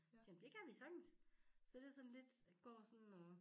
Siger jeg men det kan vi sagtens så det sådan lidt jeg går sådan og